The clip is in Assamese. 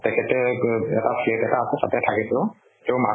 তেখেতে ক এটা flat এটা আছে তাতে থাকে তেওঁ। তেওঁৰ মাকো